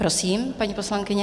Prosím, paní poslankyně.